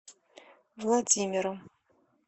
владимиру